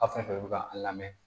Aw fɛn fɛn bɛ ka a lamɛn